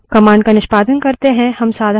मानिए कि हमें say और दिनाँक पता करनी है